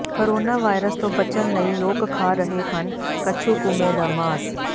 corona virus ਤੋਂ ਬਚਣ ਲਈ ਲੋਕ ਖਾ ਰਹੇ ਹਨ ਕੱਛੂਕੰਮੇ ਦਾ ਮਾਸ